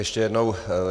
Ještě jednou.